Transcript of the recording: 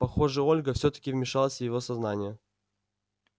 похоже ольга всё-таки вмешалась в его сознание